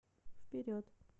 вперед